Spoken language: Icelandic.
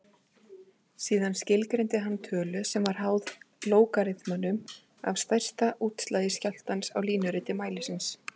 Síðan skilgreindi hann tölu sem var háð lógariþmanum af stærsta útslagi skjálftans á línuriti mælisins.